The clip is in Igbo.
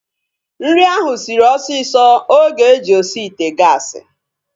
Nri ahu sịrị osisi oge e ji osi ite gaasi